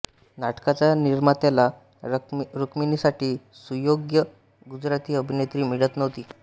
नाटकाच्या निर्मात्याला रुक्मिणीसाठी सुयोग्य गुजराती अभिनेत्री मिळत नव्हती